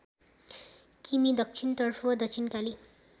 किमि दक्षिणतर्फ दक्षिणकाली